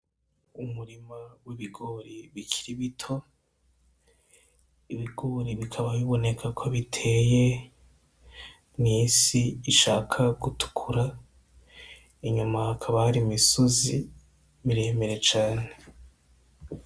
Umurima w'ibigori bikiri bito, ibigori bikaba biboneka ko biteye mw'isi ishaka gutukura, inyuma hakaba hari imisozi miremire cane.